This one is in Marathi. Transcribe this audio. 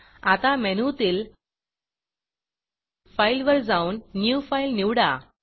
आता मेनूतील Fileफाइल वर जाऊन न्यू Fileन्यू फाइल निवडा